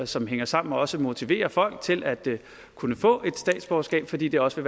som hænger sammen og også motiverer folk til at kunne få et statsborgerskab fordi det også